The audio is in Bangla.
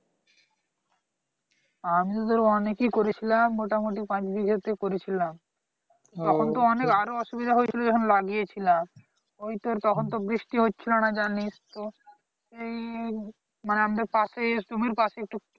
আমি তো তোর অনেক ই করেছিলাম মোটামুটি পাঁচ বিঘাতে করেছিলাম তখন তো অনেক আরো অসুবিধা হয়ে গেছিলো যখন লাগিয়েছিলাম ওই তোর তখন তো বৃষ্টি হচ্ছিলো না জানিস তো এই মানে আমাদের পাশেই জমির পাশেই